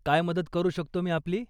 काय मदत करू शकतो मी आपली?